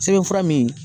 Sɛbɛn fura min